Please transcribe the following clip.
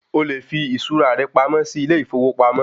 O lè fi iṣura rẹ pamọ́ sì ilé ìfowópamọ́